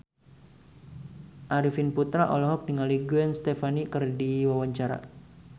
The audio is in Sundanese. Arifin Putra olohok ningali Gwen Stefani keur diwawancara